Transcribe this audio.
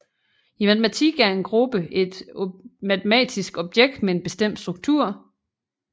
I matematikken er en gruppe et matematisk objekt med en bestemt struktur